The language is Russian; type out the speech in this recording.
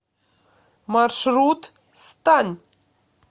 маршрут станъ